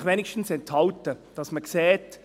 – Enthalten Sie sich wenigstens, damit man sieht: